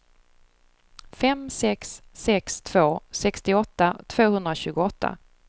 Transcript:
fem sex sex två sextioåtta tvåhundratjugoåtta